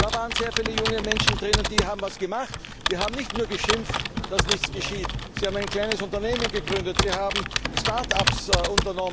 Da waren sehr viele junge Menschen dabei, die haben etwas gemacht und nicht nur geschimpft, dass nichts geschieht. Sie haben ein kleines Unternehmen gegründet, sie haben Startups aufgebaut.